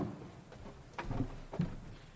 det